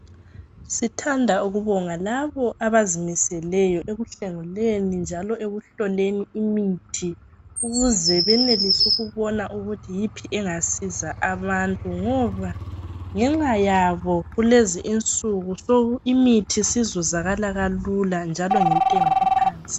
Sithanda ukubonga labo abazimiseleyo ekuthengeleni njalo ekuhloleni imithi. Ukuze benelise ukubonga ukuthi yiphi engasiza abantu. Ngoba ngenxa yabo kulezi insuku imithi sizuzakala kalula njalo ngentengo ephansi.